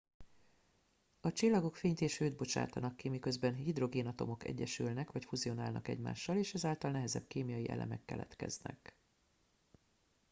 a csillagok fényt és hőt bocsátanak ki miközben a hidrogénatomok egyesülnek vagy fuzionálnak egymással és ezáltal nehezebb kémiai elemek keletkeznek